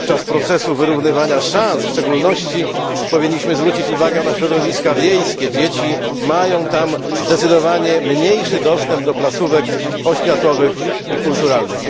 W procesie wyrównywania szans w szczególności powinniśmy zwrócić uwagę na środowiska wiejskie dzieci mają tam zdecydowanie mniejszy dostęp do placówek oświatowych i kulturalnych.